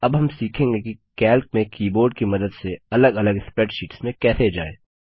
अब हम सीखेंगे कि कैल्क में कीबोर्ड की मदद से अलग अलग स्प्रैडशीट्स में कैसे जाएँ